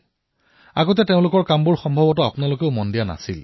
পূৰ্বতে তেওঁলোকৰ কামসমূহ চাগে আপুনিও লক্ষ্য কৰা নাছিল